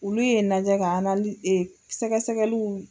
Olu ye n lajɛ ka e sɛgɛsɛgɛliw.